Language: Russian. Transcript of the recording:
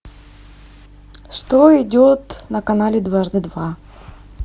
что идет на канале дважды два